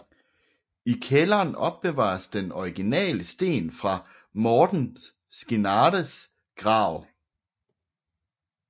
I kælderen opbevares den originale sten fra Mårten Skinnares grav